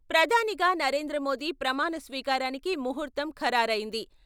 ప్రధానిగా నరేంద్ర మోదీ ప్రమాణ స్వీకారానికి ముహూర్తం ఖరారైంది.